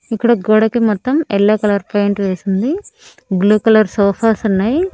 ఇక్కడ గోడకి మొత్తం ఎల్లో కలర్ పెయింట్ వేసుంది బ్లూ కలర్ సోఫాస్ ఉన్నాయి.